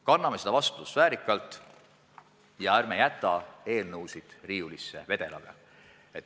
Kanname seda vastutust väärikalt ja ärme jätame eelnõusid riiulisse vedelema.